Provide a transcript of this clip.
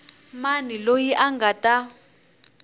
mani loyi a nga ta